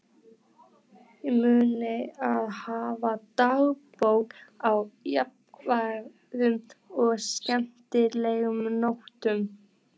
Munið að hafa dagbókina á jákvæðum og skemmtilegum nótum.